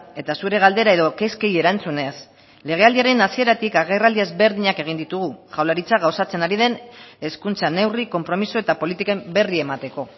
eta zure galdera edo kezkei erantzunez legealdiaren hasieratik agerraldi ezberdinak egin ditugu jaurlaritzak gauzatzen ari den hezkuntza neurri konpromiso eta politiken berri emateko